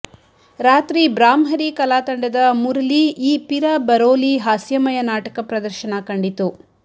ರಾತ್ರಿ ಬ್ರಾಹ್ಮರಿ ಕಲಾ ತಂಡದ ಮುರಲಿ ಈ ಪಿರ ಬರೋಲಿ ಹಾಸ್ಯಮಯ ನಾಟಕ ಪ್ರದರ್ಶನ ಕಂಡಿತು